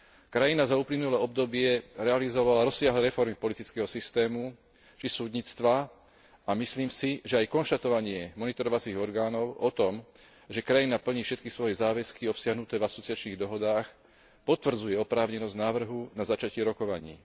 Krajina za uplynulé obdobie realizovala rozsiahle reformy politického systému či súdnictva a myslím si, že aj konštatovanie monitorovacích orgánov o tom, že krajina plní všetky svoje záväzky obsiahnuté v asociačných dohodách, potvrdzuje oprávnenosť návrhu na začatie rokovaní.